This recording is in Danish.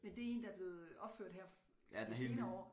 Men det en der er blevet øh opført her de senere år